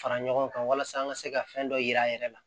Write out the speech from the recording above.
Fara ɲɔgɔn kan walasa an ka se ka fɛn dɔ yira a yɛrɛ la